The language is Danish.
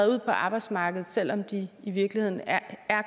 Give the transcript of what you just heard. ud på arbejdsmarkedet selv om de i virkeligheden er